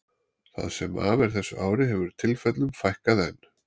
Það sem af er þessu ári hefur tilfellunum fækkað enn.